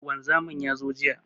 Wanzamin ya zo jiya.